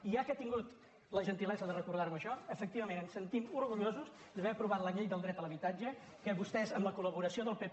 i ja que ha tingut la gentilesa de recordar me això efectivament ens sentim orgullosos d’haver aprovat la llei del dret a l’habitatge que vostès amb la colpp